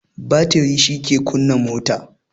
Batiri shi ke kunna mota